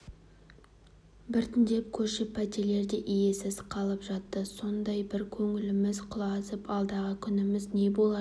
біртіндеп көшіп пәтерлер де иесіз қалып жатты сондай бір көңіліміз құлазып алдағы күніміз не болар